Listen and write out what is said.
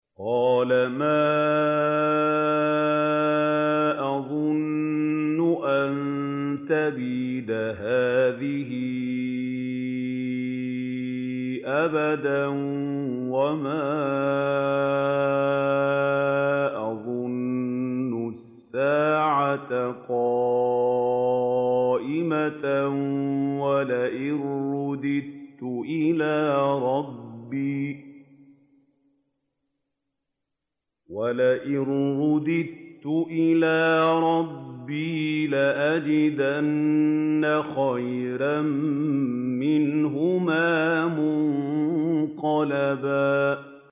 وَمَا أَظُنُّ السَّاعَةَ قَائِمَةً وَلَئِن رُّدِدتُّ إِلَىٰ رَبِّي لَأَجِدَنَّ خَيْرًا مِّنْهَا مُنقَلَبًا